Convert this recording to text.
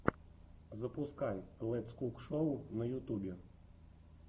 запускай летс кук шоу на ютубе